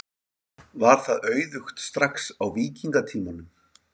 Var það auðugt strax á víkingatímanum?